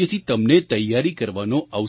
જેથી તમને તૈયારી કરવાનો અવસર મળે